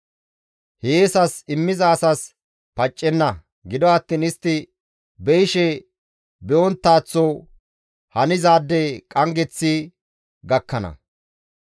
Hiyeesas immiza asas paccenna; gido attiin istti be7ishe be7onttaththo hanizaade qanggeththi gakkana.